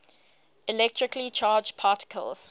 electrically charged particles